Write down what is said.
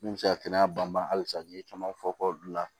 Min bɛ se ka kɛnɛya banba halisa n'i ye caman fɔ k'o bila